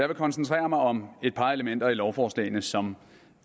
vil koncentrere mig om et par elementer i lovforslagene som